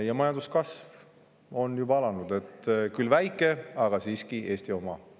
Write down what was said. Ja majanduskasv on juba alanud – küll väike, aga siiski Eesti oma.